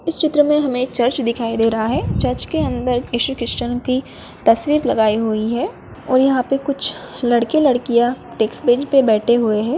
इस चित्र में हमें एक चर्च दिखाई दे रहा है चर्च के अंदर ईसू क्रिस्चियन की तस्वीर लगायी हुई है और यहाँ पे कुछ लड़के-लड़किया टेक्स बेरी पे बैठे हुए है।